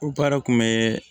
O baara kun bɛ